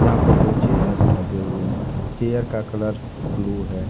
यहां पे दो चेयर्स लगे हुए हैं चेयर का कलर ब्लू है।